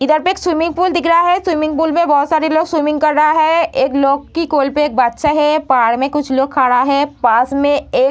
इधर पे एक स्विमिंग पुल दिख रहा है स्विमिंग पूल मे बहुत सारे लोग स्विमिंग कर रहा है एक है बाहर मे कुछ लोग खड़ा है पास मे एक --